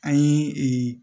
An ye